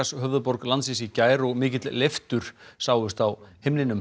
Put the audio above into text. höfuðborg landsins í gær og mikil leiftur sáust á himninum